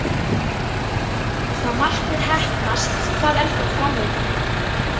Ef það markmið heppnast, hvað er þá fram undan?